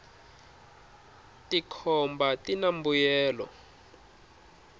tikhomba tina mbuyelo